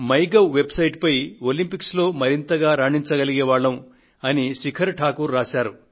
in website పై Olympics లో మరింతగా రాణించగలిగే వాళ్లం అని శిఖర్ ఠాకూర్ రాశారు